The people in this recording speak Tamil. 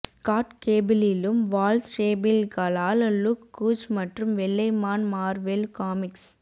ஸ்காட் கேபிளிலும் வால் ஸ்டேப்பில்களால் லுக் கூஜ் மற்றும் வெள்ளை மான் மார்வெல் காமிக்ஸ்